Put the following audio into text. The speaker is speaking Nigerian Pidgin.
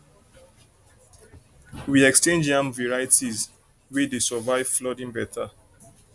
we exchange yam varieties wey dey survive flooding better